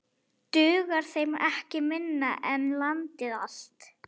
Dugar þeim ekkert minna en landið allt?